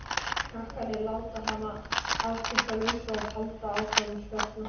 Krakkarnir láta hana afskiptalausa og halda áfram að spjalla.